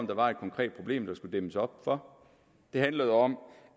der var et konkret problem der skulle dæmmes op for det handlede om